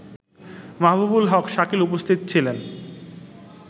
মাহবুবুল হক শাকিল উপস্থিত ছিলেন